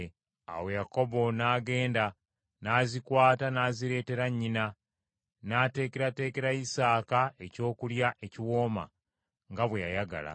Awo Yakobo n’agenda, n’azikwata n’azireeteera nnyina, n’ateekerateekera Isaaka ekyokulya ekiwooma nga bwe yayagala.